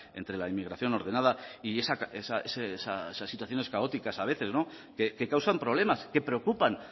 entre la inmigración ordenada y esas situaciones caóticas a veces que causan problemas que preocupan